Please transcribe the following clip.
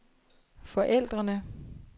forældrene